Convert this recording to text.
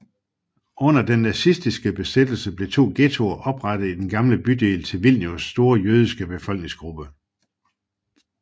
Under den nazistiske besættelse blev to ghettoer oprettet i den gamle bydel til Vilnius store jødiske befolkningsgruppe